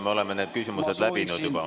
Me oleme need küsimused juba läbinud.